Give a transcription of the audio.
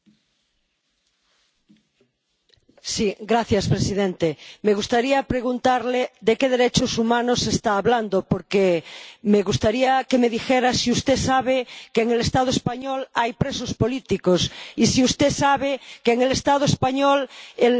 Me gustaría preguntarle de qué derechos humanos está hablando, porque me gustaría que me dijera si usted sabe que en el Estado español hay presos políticos y si usted sabe que en el Estado español el derecho a la vivienda y el derecho a la salud están seriamente cuestionados.